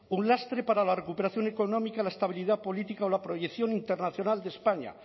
un lastre para la recuperación económica la estabilidad política o la proyección internacional de españa